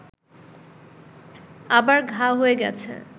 আবার ঘা হয়ে গেছে